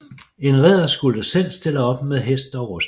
En ridder skulle selv stille op med hest og rustning